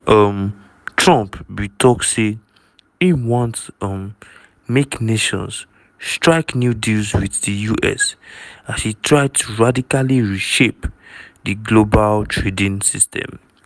um trump bin tok say im want um make nations strike new deals wit di us as e try to radically reshape di global trading system.